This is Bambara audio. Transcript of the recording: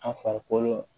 An farikolo